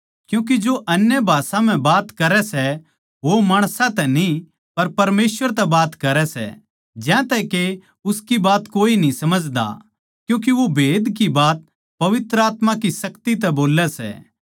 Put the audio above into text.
क्यूँके जो अन्य भाषा म्ह बात करै सै वो माणसां तै न्ही पर परमेसवर तै बात करै सै ज्यांतै के उसकी बात कोए न्ही समझदा क्यूँके वो भेद की बात पवित्र आत्मा की शक्ति तै बोल्लै सै